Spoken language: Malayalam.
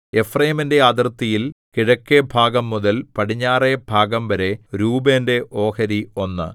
എഫ്രയീമിന്റെ അതിർത്തിയിൽ കിഴക്കെഭാഗംമുതൽ പടിഞ്ഞാറെ ഭാഗംവരെ രൂബേന്റെ ഓഹരി ഒന്ന്